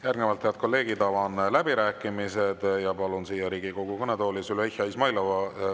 Järgnevalt, head kolleegid, avan läbirääkimised ja palun siia Riigikogu kõnetooli Züleyxa Izmailova.